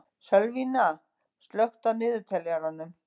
Sölvína, slökktu á niðurteljaranum.